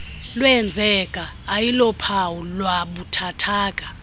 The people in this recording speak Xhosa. lwenzeke ayilophawu lwabuthathaka